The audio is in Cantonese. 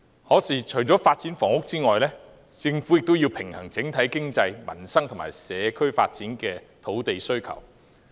可是，除了發展房屋外，政府也要平衡整體經濟、民生和社區發展的土地需求。